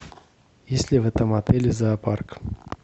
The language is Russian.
есть ли в этом отеле зоопарк